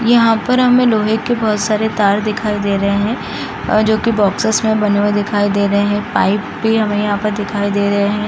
यहाँ पर हमें लोहे के बहुत सारे तार दिखाई दे रहे हैं जो कि बॉक्सेस में बने हुए दिखाई दे रहे हैं पाइप भी हमे यहाँ पर दिखाई दे रहे हैं |